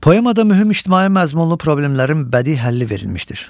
Poemada mühüm ictimai məzmunlu problemlərin bədii həlli verilmişdir.